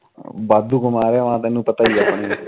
ਵਾਧੂ ਕਮਾ ਲਿਆ ਤੈਨੂੰ ਪਤਾ ਈ ਐ